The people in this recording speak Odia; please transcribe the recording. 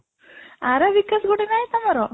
Arabic as ଗୋଟେ ନାଇଁ ତମର